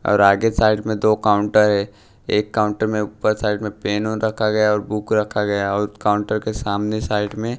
और आगे साइड में दो काउंटर हैं एक काउंटर में ऊपर साइड में पेन ऑन रखा गया और बुक रखा गया और काउंटर के सामने साइड में--